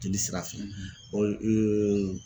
Jeli sira fɛ